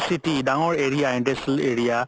city ডাঙৰ area industrial area